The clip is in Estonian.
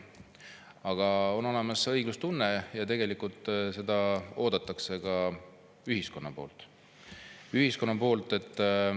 Aga on olemas õiglustunne ja tegelikult seda ootab ka ühiskond.